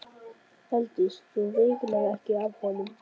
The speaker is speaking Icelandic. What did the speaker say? Eltist sú veiklun ekki af honum.